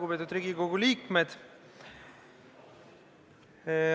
Lugupeetud Riigikogu liikmed!